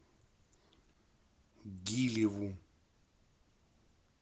гилеву